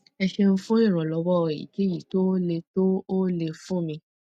ẹ ṣeun fún ìrànlọwọ èyíkéyìí tó o lè tó o lè fún mi